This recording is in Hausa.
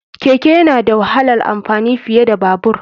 Keke yana da wahalar amfani fiye da Babur.